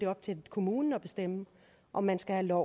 op til kommunen at bestemme om man skal have lov